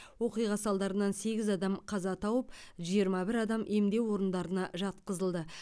оқиға салдарынан сегіз адам қаза тауып жиырма бір адам емдеу орындарына жатқызылды